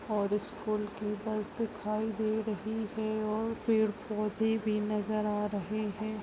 और स्कूल की बस दिखाई दे रही है और पेड़- पौधे भी नजर आ रहे हैं।